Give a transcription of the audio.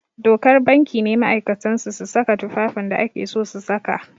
Dokar banki ne ma'aikatan su su saka tufafin da ake so su saka